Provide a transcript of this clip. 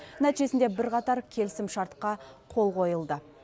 нәтижесінде бірқатар келісімшартқа қол қойылды